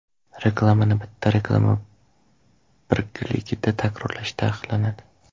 Reklamani bitta reklama birligida takrorlash taqiqlanadi.